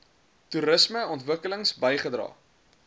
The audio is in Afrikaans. toerisme ontwikkeling bygedra